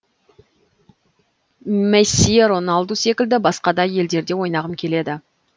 месси роналду секілді басқа да елдерде ойнағым келеді